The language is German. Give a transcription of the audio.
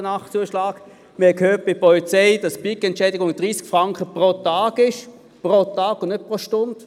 Wir haben bei der Polizei gehört, dass die Pikettentschädigung 30 Franken pro Tag beträgt, pro Tag und nicht pro Stunde.